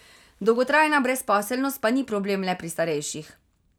Dolgotrajna brezposelnost pa ni problem le pri starejših.